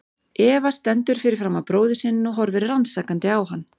Eva stendur fyrir framan bróður sinn og horfir rannsakandi á hann.